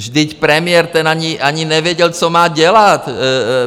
Vždyť premiér, ten ani nevěděl, co má dělat.